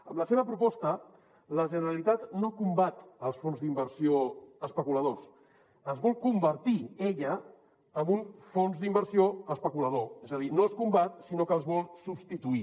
amb la seva proposta la generalitat no combat els fons d’inversió especuladors es vol convertir ella en un fons d’inversió especulador és a dir no els combat sinó que els vol substituir